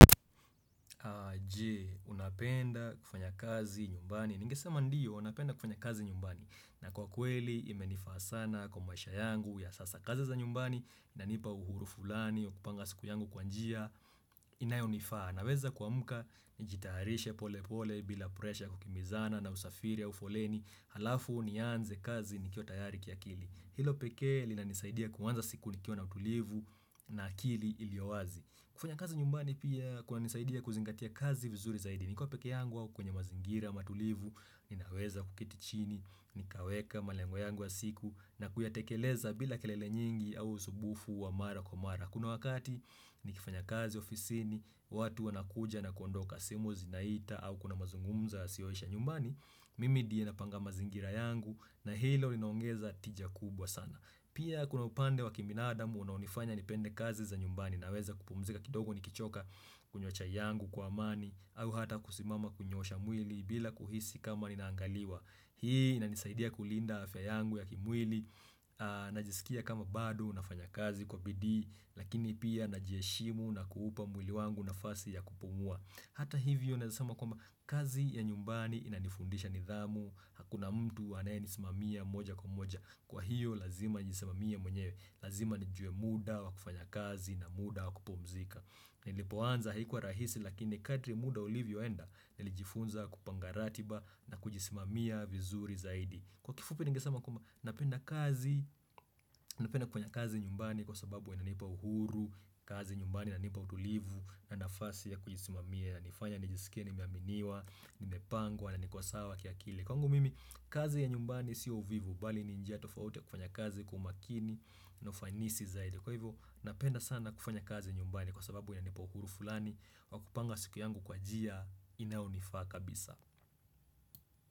Je, unapenda kufanya kazi nyumbani Ningesema ndiyo, napenda kufanya kazi nyumbani na kwa kweli, imenifaa sana kwa mwaisha yangu ya sasa kazi za nyumbani, inanipa uhuru fulani wa kupanga siku yangu kwanjia, inayo nifaa na weza kwa amka, nijitarishe pole pole bila presha kukimizana na usafiri au ufoleni Halafu, nianze kazi nikio tayari kia kili Hilo peke li na nisaidia kuwanza siku nikio na utulivu na kili ilioazi kufanya kazi nyumbani pia kuna nisaidia kuzingatia kazi vizuri zaidi. Niko peke yangu au kwenye mazingira, matulivu, ninaweza kuketi chini, nikaweka malengo yangu ya siku na kuyatekeleza bila kelele nyingi au usumbufu wa mara kwa mara. Kuna wakati nikifanya kazi ofisini, watu wanakuja na kondoka simu zinaita au kuna mazungumza yasioisha nyumbani, mimi ndiye napanga mazingira yangu na hilo linongeza tija kubwa sana. Pia kuna upande wa kibinadamu unanifanya nipende kazi za nyumbani na weza kupumzika kidogo nikichoka kunywa yangu kwa amani au hata kusimama kunyosha mwili bila kuhisi kama ninaangaliwa. Hii inanisaidia kulinda afya yangu ya kimwili, najisikia kama bado, nafanya kazi kwa bidii, Lakini pia najiheshimu na kuhupa mwili wangu na fasi ya kupumua Hata hivyo nawezasema kwa kazi ya nyumbani inanifundisha nidhamu Hakuna mtu ane nisimamia moja kwa moja Kwa hiyo lazima njisimamia mwenyewe Lazima nijue muda wa kufanya kazi na muda wa kupumzika Nilipoanza haikuwa rahisi lakini kadri muda ulivyoenda Nilijifunza kupangaratiba na kujisimamia vizuri zaidi Kwa kifupi ningesama kuma napenda kazi Napenda kufanya kazi nyumbani kwa sababu inanipa uhuru kazi nyumbani inanipa utulivu na nafasi ya kujisimamia nifanya nijisikia nimeaminiwa Nimepangwa na niko sawa kiakili Kwangu mimi kazi ya nyumbani siyo uvivu Bali ninjia tofauti kufanya kazi kwa umakini na ufanisi zaidi Kwa hivyo napenda sana kufanya kazi nyumbani Kwa sababu inanipa uhuru fulani Wakupanga siku yangu kwa jia Inaonifaa kabisa.